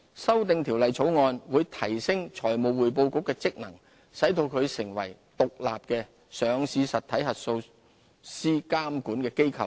修訂條例草案會提升財務匯報局的職能，使其成為獨立的上市實體核數師監管機構。